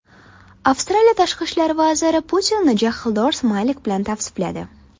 Avstraliya tashqi ishlar vaziri Putinni jahldor smaylik bilan tavsifladi.